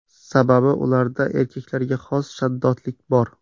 Sababi ularda erkaklarga xos shaddodlik bor.